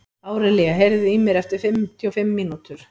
Árelía, heyrðu í mér eftir fimmtíu og fimm mínútur.